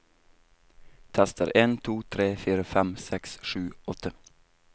Tester en to tre fire fem seks sju åtte